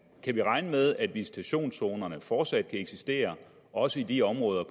kan vi regne med at visitationszonerne fortsat kan eksistere også i de områder